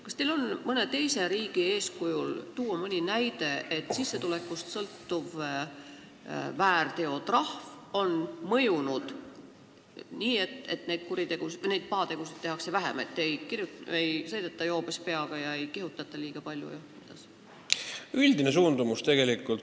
Kas teil on mõne teise riigi eeskujul tuua mõni näide, et sissetulekust sõltuv väärteotrahv on mõjunud nii, et pahategusid tehakse vähem, ei sõideta joobes peaga ega kihutata liiga palju?